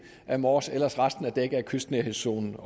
af mors ellers er resten dækket af kystnærhedszonen